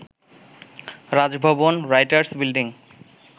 Raj Bhavan, Writers building